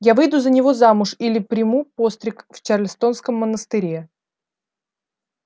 я выйду за него замуж или приму постриг в чарльстонском монастыре